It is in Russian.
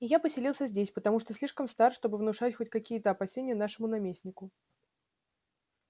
и я поселился здесь потому что слишком стар чтобы внушать хоть какие-то опасения нашему наместнику